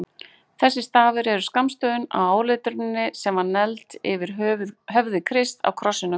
Þessir stafir eru skammstöfun á áletruninni sem var negld yfir höfði Krists á krossinum.